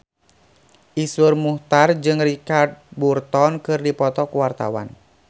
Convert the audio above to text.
Iszur Muchtar jeung Richard Burton keur dipoto ku wartawan